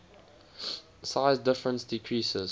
size difference decreases